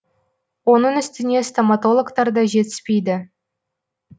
оның үстіне стоматологтар да жетіспейді